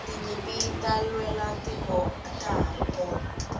tinyimpi ta lwela tiko atirikona